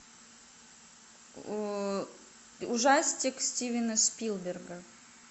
ужастик стивена спилберга